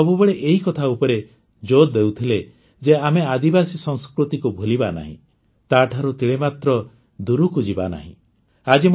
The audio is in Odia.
ସେ ସବୁବେଳେ ଏହି କଥା ଉପରେ ଜୋର୍ ଦେଉଥିଲେ ଯେ ଆମେ ଆଦିବାସୀ ସଂସ୍କୃତିକୁ ଭୁଲିବା ନାହିଁ ତାଠାରୁ ତିଳେମାତ୍ର ଦୂରକୁ ଯିବାନାହିଁ